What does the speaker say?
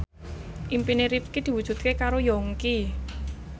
impine Rifqi diwujudke karo Yongki